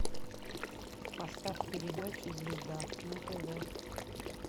поставь передачу звезда на тв